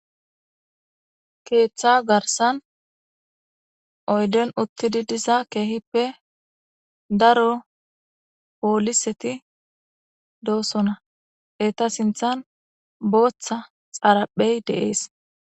Keeththa garssan oyden uttidi diza keehippe daro pooliseti doosona. Eta sinththan booththa xaraphey de'es.